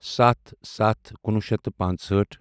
سَتھ سَتھ کُنوُہ شیٚتھ تہٕ پانٛژہٲٹھ